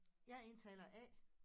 Jeg er indtaler A